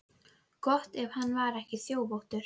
Gott ef hann var ekki þjófóttur.